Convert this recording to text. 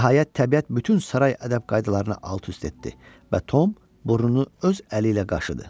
Nəhayət təbiət bütün saray ədəb qaydalarını alt-üst etdi və Tom burnunu öz əli ilə qaşıdı.